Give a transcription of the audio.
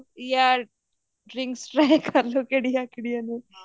ਯਾ drinks try ਕਰਲੋ ਕਿਹੜੀ ਕਿਹੜੀਆਂ ਨੇ